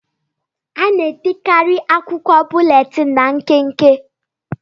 A na-edekarị akwụkwọ búlétin ná nkenke